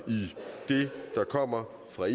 i det der kommer fra